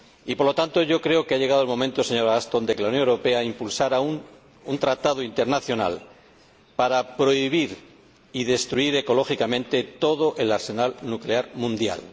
por lo tanto, yo creo que ha llegado el momento, señora Ashton, de que la Unión Europea impulse un tratado internacional para prohibir y destruir ecológicamente todo el arsenal nuclear mundial.